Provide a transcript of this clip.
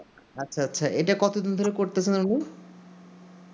আচ্ছা আচ্ছা ইটা কত দিন ধরে করতেছেন উনি